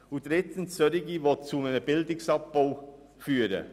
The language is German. Drittens wenden wir uns gegen Sparmassnahmen, die zu einem Bildungsabbau führen.